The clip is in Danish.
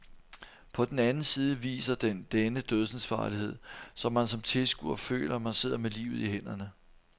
På den anden side viser den denne dødsensfarlighed, så man som tilskuer føler man sidder med livet i hænderne.